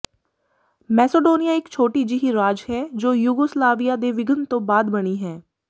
Macedonia ਇਕ ਛੋਟੀ ਜਿਹੀ ਰਾਜ ਹੈ ਜੋ ਯੂਗੋਸਲਾਵੀਆ ਦੇ ਵਿਘਨ ਤੋਂ ਬਾਅਦ ਬਣੀ ਹੈ